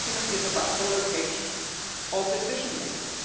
The argument is about the location of decision-making.